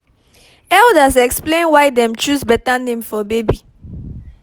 elders explain why dem choose better name for baby